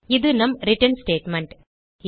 இது நம் return statement